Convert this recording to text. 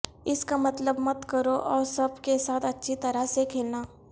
اس کا مطلب مت کرو اور سب کے ساتھ اچھی طرح سے کھیلنا